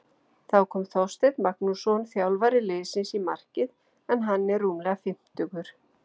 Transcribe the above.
Þá kom Þorsteinn Magnússon þjálfari liðsins í markið en hann er rúmlega fimmtugur.